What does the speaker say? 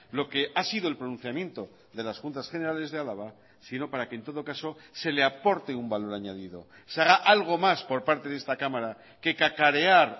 lo que ha sido el pronunciamiento de las juntas generales de álava sino para que en todo caso se le aporte un valor añadido se haga algo más por parte de esta cámara que cacarear